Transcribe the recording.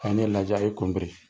A ye ne lajɛ, a y'i kun biri.